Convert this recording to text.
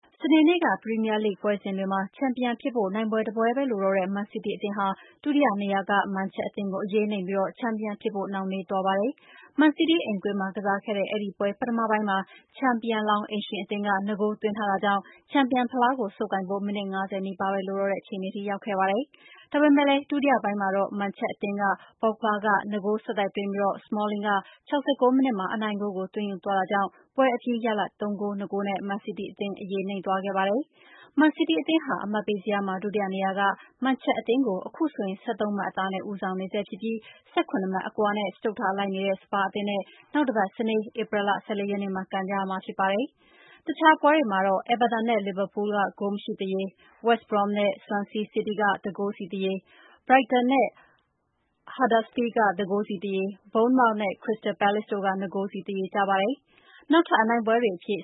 စနေနေ့ ပရီးမီးယားလိဂ် ပွဲစဉ်တွေမှာ ချန်ပီယံဖြစ်ဖို့ နိုင်ပွဲတပွဲပဲလိုတော့တဲ့ မန်စီးတီးအသင်းဟာ ဒုတိယနေရာက မန်ချက် အသင်းကို အရေးနိမ့်ပြီး ချန်ပီယံဖြစ်ဖို့ နှောင့်နှေးသွားပါတယ်။ မန်စီးတီးအိမ်ကွင်းမှာကစားခဲ့တဲ့ အဲဒီပွဲ ပထမပိုင်းမှာ ချန်ပီယံလောင်း အိမ်ရှင်အသင်းက ၂ ဂိုး သွင်းထားတာကြောင့် ချန်ပီယံ ဖလားကို ဆုပ်ကိုင်ဖို့ မိနစ် ၅၀ နီးပါးပဲ လိုတော့တဲ့အခြေအနေထိ ရောက်ခဲ့ပါတယ်။ ဒါပေမဲ့လည်း ဒုတိယပိုင်းမှာတော့ မန်ချက်အသင်းက ပေါ့ဂ်ဘာ က ၂ ဂိုး ဆက်တိုက်သွင်းပြီး စမောလင်းက ၆၉ မိနစ်မှာ အနိုင်ဂိုးကို သွင်းယူသွားတာကြောင့် ပွဲအပြီးရလဒ် ၃ ဂိုး ၂ ဂိုးနဲ့ မန်စီးတီးအသင်း အရေးနိမ့်သွားခဲ့ပါတယ်။ မန်စီးတီးအသင်းဟာ အမှတ်ပေးဇယားမှာ ဒုတိယနေရာက မန်ချက်အသင်းကို အခုဆိုရင် ၁၃ မှတ်အသာနဲ့ ဦးဆောင်နေဆဲ ဖြစ်ပြီး ၁၇ မှတ်အကွာနဲ့ စတုတ္ထလိုက်နေတဲ့ စပါးအသင်းနဲ့ နောက်တပတ်စနေ ဧပြီလ ၁၄ ရက်နေ့မှာ ကန်ရမှာဖြစ်ပါတယ်။ တခြားပွဲတွေမှာတော့ အဲဗာတန် နဲ့ လီဗာပူး ဂိုးမရှိသရေ၊ ဝက်စ်ဘရွမ်း နဲ့ ဆွမ်ဆီးစီးတီး ၁ ဂိုးစီသရေ၊ ဘရိုက်တန် နဲ့ ဟတ်ဒါစ်ဖီးလ်ဒ် ၁ ဂိုးစီသရေ၊ ဘုန်းမောက် နဲ့ ခရစ္စတယ်ပဲလေ့စ် တို့ ၂ ဂိုးစီသရေကျပါတယ်။ နောက်ထပ် အနိုင်ပွဲတွေအဖြစ်